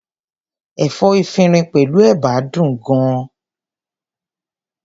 Ẹ̀fọ́ efinrin pẹ̀lú ẹ̀bà dùn gan-an.